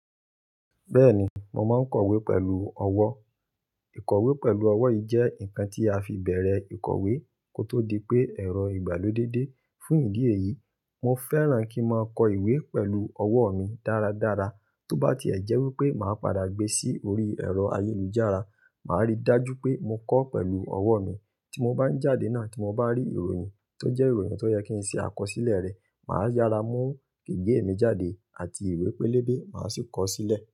Bẹ́ẹ̀ni, mo máa ń kọ̀wé pẹ̀lú ọwọ́. Ìkọ̀wé pẹ̀lú ọwọ́ yí jẹ́ nǹkan tí a fi bẹ̀rẹ̀ ìkọ̀wé kó tó di pé ẹ̀rọ ìgbàlódé dé. Fún ìdí èyí, mo fẹ́ràn kí n máa kọ ìwé pẹ̀lú ọwọ́ mi dáradára tó bá ti e jẹ́ wípé màá padà gbé sí orí ẹ̀rọ ayélujára. Màá rí i dájú pé mo kọ́ pẹ̀lú ọwọ́ mi. Tí mo bá ń jáde náà, tí mo bá rí ìròyìn tó jẹ́ ìròyìn tó yẹ kí n ṣe àkọsílẹ̀ rẹ, màá yára mú gègé mi jáde àti ìwé pélébé, màá sì kọ ó sílẹ̀.